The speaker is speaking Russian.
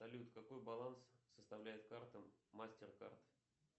салют какой баланс составляет карта мастер кард